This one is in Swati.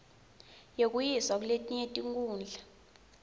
yekuyiswa kuletinye tikhundla